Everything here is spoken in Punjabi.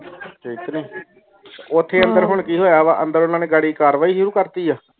ਓਥੇ ਅੰਦਰ ਹੁਣ ਕਿ ਹੋਇਆ ਵੇ ਅੰਦਰ ਓਨਾ ਨੇ ਗੈਰੀ ਕਾਰਵਾਈ ਸ਼ੁਰੂ ਕਰ ਦਿਤੀ ਇਹ